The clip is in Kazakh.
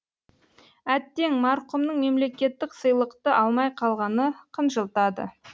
әттең марқұмның мемлекеттік сыйлықты алмай қалғаны қынжылтады